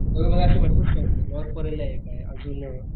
तर मला अशे भरपूर स्टॉल्स माहितेयआजून,